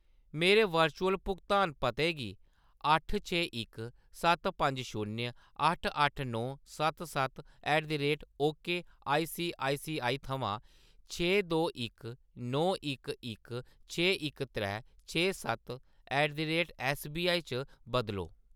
मेरे वर्चुअल भुगतान पते गी अट्ठ छे इक सत्त पंज शून्य अट्ठ अट्ठ नौ सत्त सत्त ऐट द रेट ओकेआईसीआईसीआई थमां छे दो इक नौ इक इक छे इक त्रै छे सत्त ऐट द रेट ऐस्सबीआई च बदलो